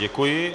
Děkuji.